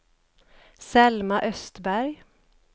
Selma Östberg